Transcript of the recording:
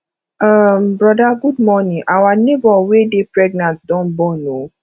um broda good morning our nebor wey dey pregnant don born o